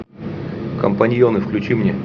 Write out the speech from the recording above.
компаньоны включи мне